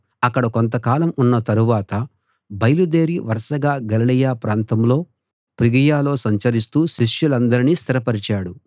అక్కడ కొంతకాలం ఉన్న తరువాత బయలుదేరి వరసగా గలిలయ ప్రాంతంలో ఫ్రుగియలో సంచరిస్తూ శిష్యులందరినీ స్థిరపరిచాడు